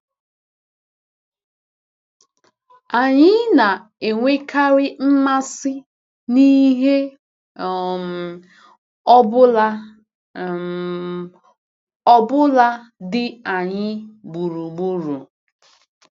Anyị na-enwekarị mmasị n’ihe um ọ bụla um ọ bụla dị anyị gburugburu.